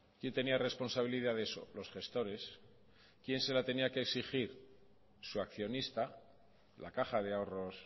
quién tenía responsabilidad de eso los gestores quién se la tenía que exigir su accionista la caja de ahorros